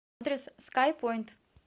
адрес скайпоинт